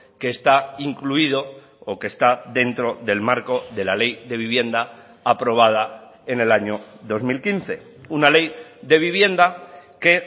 que está incluido o que está dentro del marco de la ley de vivienda aprobada en el año dos mil quince una ley de vivienda que